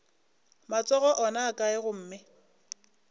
matsogo ona a kae gomme